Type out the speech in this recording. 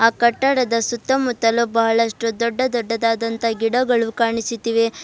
ಆ ಕಟ್ಟಡದ ಸುತ್ತಮುತ್ತಲು ಬಹಳಷ್ಟು ದೊಡ್ಡ ದೊಡ್ಡದಾದಂತ ಗಿಡಗಳು ಕಾಣಿಸುತ್ತಿವೆ.